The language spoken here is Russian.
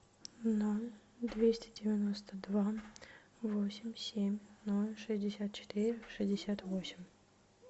ноль двести девяносто два восемь семь ноль шестьдесят четыре шестьдесят восемь